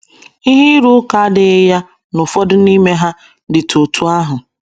Ihe ịrụ ụka adịghị ya na ụfọdụ n’ime ha dịtụ otú ahụ.